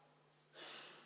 Proteste ei ole.